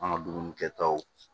An ka dumuni kɛtaw